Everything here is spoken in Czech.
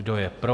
Kdo je pro?